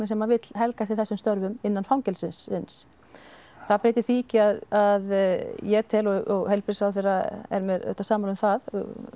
sem vill helga sér þessum störfum innan fangelsisins það breytir því ekki að ég tel og heilbrigðisráðherra er með samráð um það